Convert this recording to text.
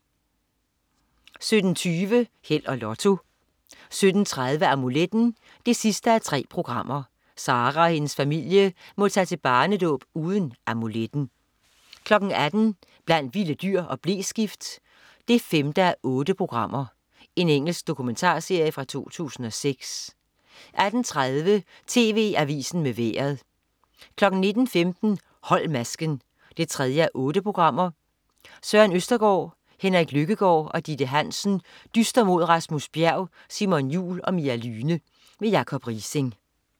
17.20 Held og Lotto 17.30 Amuletten 3:3. Sara og hendes familie må tage til barnedåb uden amuletten 18.00 Blandt vilde dyr og bleskift 5:8. Engelsk dokumentarserie fra 2006 18.30 TV Avisen med Vejret 19.15 Hold masken 3:8. Søren Østergaard, Henrik Lykkegaard og Ditte Hansen dyster mod Rasmus Bjerg, Simon Jul og Mia Lyhne. Jacob Riising.